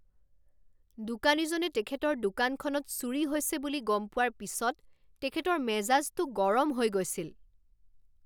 দোকানীজনে তেখেতৰ দোকানখনত চুৰি হৈছে বুলি গম পোৱাৰ পিছত তেখেতৰ মেজাজটো গৰম হৈ গৈছিল।